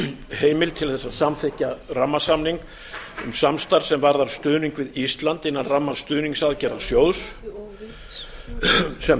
heimild til þess að samþykkja rammasamning um samstarf sem varðar stuðning við ísland innan ramma stuðningsaðgerðarsjóðs sem